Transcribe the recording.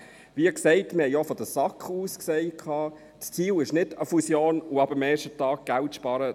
Wie gesagt, wir haben auch von der SAK aus gesagt: Das Ziel ist nicht eine Fusion und ab dem ersten Tag Geld zu sparen.